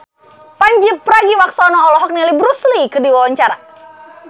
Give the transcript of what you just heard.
Pandji Pragiwaksono olohok ningali Bruce Lee keur diwawancara